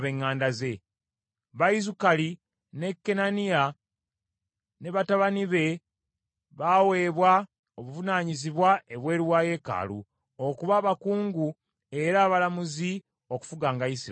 Ku Bayizukaali, Kenaniya ne batabani be baaweebwa obuvunaanyizibwa ebweru wa yeekaalu, okuba abakungu era abalamuzi okufuganga Isirayiri.